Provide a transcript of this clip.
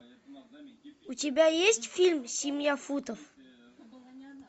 у тебя есть фильм семья футов